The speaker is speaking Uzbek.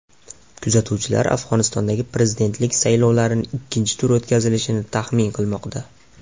Kuzatuvchilar Afg‘onistondagi prezidentlik saylovlarining ikkinchi turi o‘tkazilishini taxmin qilmoqda.